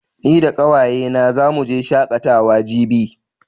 Ni da ƙawaye na zamu je shaƙatawa jibi